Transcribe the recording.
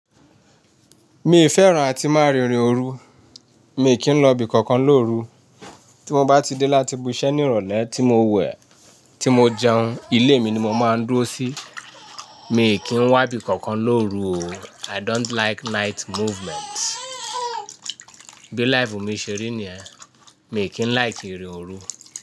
Mi fẹ́ràn àti máa rìnrin òru. Mi kì í lọ bi kankan lóru. Tí mo bá ti dé láti bu iṣẹ́ ní ìrọ̀lẹ́ tí mo wẹ̀, tí mo jẹun, ilé mi ni mo máa ń dúró sí. Mi kì í wá ibi kankan lóru o. I don't like night movements. Bí life mi ṣe rí ni ẹ́. Mi kì í like irìn òru.